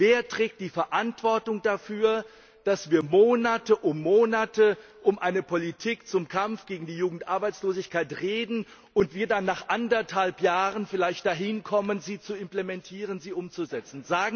Wer trägt die Verantwortung dafür, dass wir Monat um Monat über eine Politik zum Kampf gegen die Jugendarbeitslosigkeit reden und wir dann vielleicht nach eineinhalb Jahren dahin kommen, sie zu implementieren, sie umzusetzen.